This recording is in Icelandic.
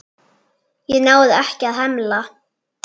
Ég náði ekki að hemla.